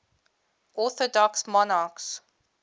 orthodox monarchs